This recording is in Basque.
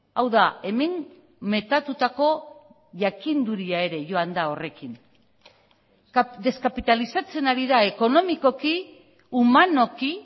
hau da hemen metatutako jakinduria ere joan da horrekin deskapitalizatzen ari da ekonomikoki humanoki